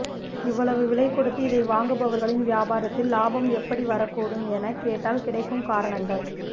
இவ்வளவு விலைக் கொடுத்து இதை வாங்குபவர்களின் வியாபாரத்தில் லாபம் எப்படி வரக்கூடும் எனக் கேட்டால் கிடைக்கும் காரணங்கள்